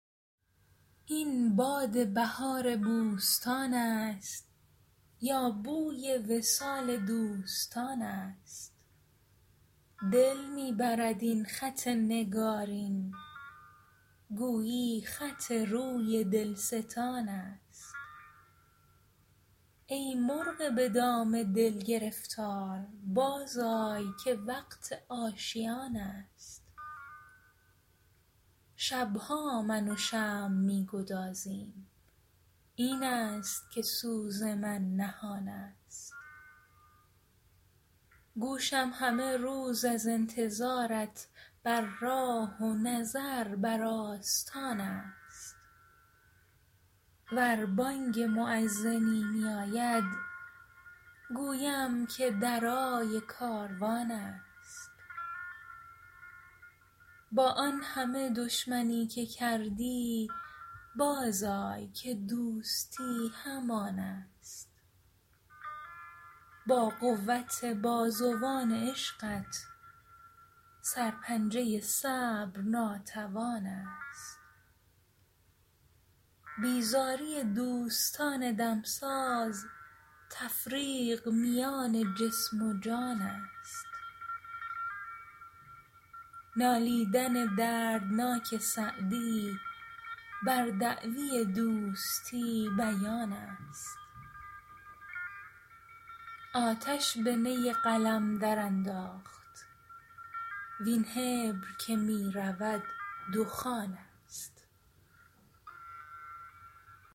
این باد بهار بوستان است یا بوی وصال دوستان است دل می برد این خط نگارین گویی خط روی دلستان است ای مرغ به دام دل گرفتار بازآی که وقت آشیان است شب ها من و شمع می گدازیم این است که سوز من نهان است گوشم همه روز از انتظارت بر راه و نظر بر آستان است ور بانگ مؤذنی میاید گویم که درای کاروان است با آن همه دشمنی که کردی بازآی که دوستی همان است با قوت بازوان عشقت سرپنجه صبر ناتوان است بیزاری دوستان دمساز تفریق میان جسم و جان است نالیدن دردناک سعدی بر دعوی دوستی بیان است آتش به نی قلم درانداخت وین حبر که می رود دخان است